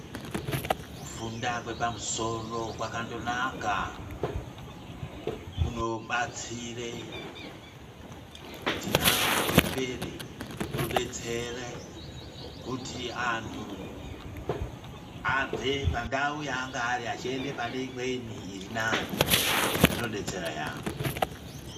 Kufunda kwepamusoro kwakandonaka, kunobatsire kuti nhamo ipere, kunodetsera kuti anhu abve pandau yaange ari, eyienda paneimweni iri nane, zvinodetsera yaambo.